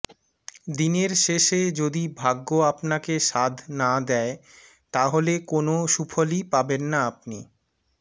দিনের শেষে যদি ভাগ্য আপনাকে সাধ না দেয় তাহলে কোনও সুফলই পাবেন না আপনি